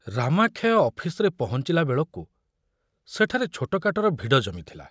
ରାମାକ୍ଷୟ ଅଫିସରେ ପହଞ୍ଚିଲା ବେଳକୁ ସେଠାରେ ଛୋଟକାଟର ଭିଡ଼ ଜମିଥୁଲା।